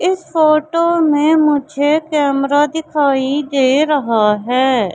इस फोटो में मुझे कैमरा दिखाई दे रहा है।